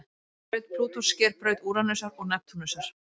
Braut Plútós sker braut Úranusar og Neptúnusar.